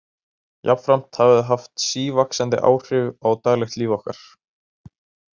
Jafnframt hafa þau haft sívaxandi áhrif á daglegt líf okkar.